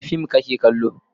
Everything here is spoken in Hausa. Wane fim kake kallo?